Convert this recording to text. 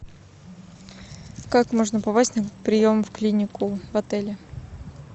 как можно попасть на прием в клинику в отеле